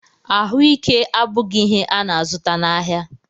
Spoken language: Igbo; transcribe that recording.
Ahụike abụghị ihe a na-azụta n'ahịa